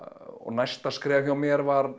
næsta skref hjá mér var